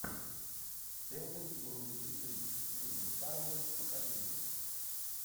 элвин и бурундуки три сьюзен сарандон покажи мне